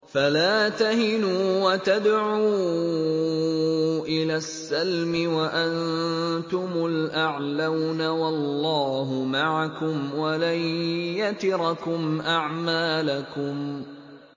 فَلَا تَهِنُوا وَتَدْعُوا إِلَى السَّلْمِ وَأَنتُمُ الْأَعْلَوْنَ وَاللَّهُ مَعَكُمْ وَلَن يَتِرَكُمْ أَعْمَالَكُمْ